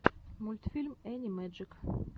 мультфильм энни мэджик